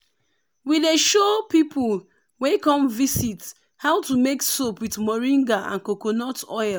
we dey show people wey come visit how to make soap with moringa and coconut oil.